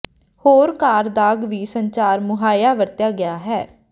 ਹੋਰ ਕਾਰ ਦਾਗ ਵੀ ਸੰਚਾਰ ਮੁਹੱਈਆ ਵਰਤਿਆ ਗਿਆ ਹੈ